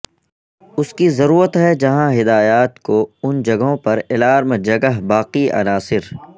اس کی ضرورت ہے جہاں ہدایات کو ان جگہوں پر الارم جگہ باقی عناصر